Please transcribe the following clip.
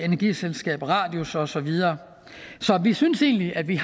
energiselskabet radius og så videre så vi synes egentlig at vi